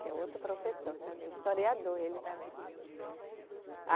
Que é outro professor também, historiador ele também.